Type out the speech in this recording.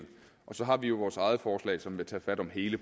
og så har vi jo vores eget forslag som vil tage fat om hele